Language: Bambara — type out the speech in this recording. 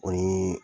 O ni